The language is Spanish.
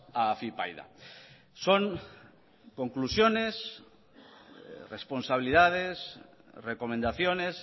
a afypaida son conclusiones responsabilidades recomendaciones